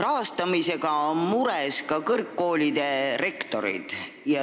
Rahastamise pärast on mures ka kõrgkoolide rektorid.